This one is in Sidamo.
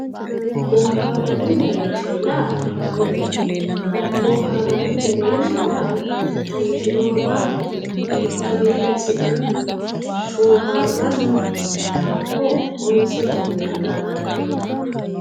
boohaarranni mereersha yaa mayaate boohaarranni mereersha yaa biifinowa marre lekka milli assi'nanni bohaaranni hakko honse danganiwaati.